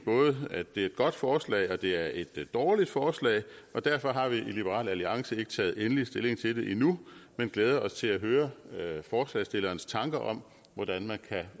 at det er et godt forslag og mene at det er et dårligt forslag og derfor har vi i liberal alliance ikke taget endelig stilling til det endnu men glæder os til at høre forslagsstillernes tanker om hvordan man kan